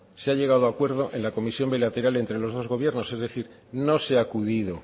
se ha llegado a acuerdo en la comisión bilateral entre los dos gobiernos es decir no se ha acudido